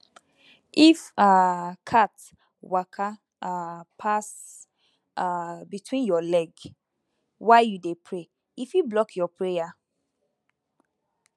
if um cat waka um pass um between your leg while you dey pray e fit block your prayer